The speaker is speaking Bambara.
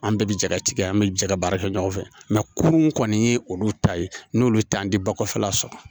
An bɛɛ bi jɛgɛ tigɛ an bi jɛ ka baara kɛ ɲɔgɔn fɛ kurun kɔni ye olu ta ye n'olu t'an ti ba kɔfɛla sɔrɔ